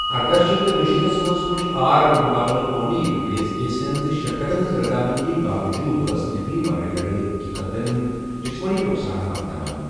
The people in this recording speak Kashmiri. ارداہ شیتھ تہٕ دُشیتھ منٛز وُچھ آر بمُقٲبلہٕ کونی انگریزی کیسَن زِ شرکَتَن ہٕنٛز رضامندی باوجوٗد ٲس نَکٔلۍ ورٲے لڑٲے حٔقیٖقی جسمٲنی نۄقصان واتناوان۔